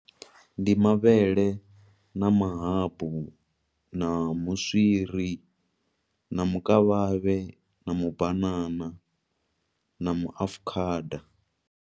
Ndi mavhele na mahabu, na muswiri, na mukavhavhe, na mubanana, na muafukhada.